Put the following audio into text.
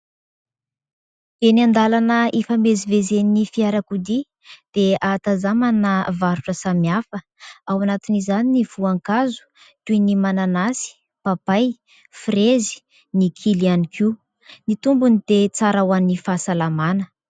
Eny an-dalana hifamezivezen'ny fiarakodia dia ahatazamana varotra samy hafa ao anatin'izany ny voankazo toy : ny mananasy, papay, firezy, ny kily ihany koa. Ny tombony dia tsara ho an'ny fahasalamana.